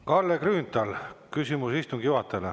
Kalle Grünthal, küsimus istungi juhatajale.